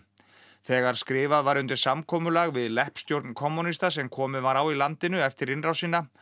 þegar skrifað var undir samkomulag við leppstjórn kommúnista sem komið var á í landinu eftir innrásina